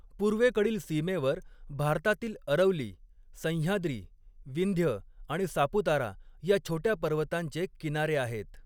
पूर्वेकडील सीमेवर भारतातील अरवली, सह्याद्री, विंध्य आणि सापुतारा या छोट्या पर्वतांचे किनारे आहेत.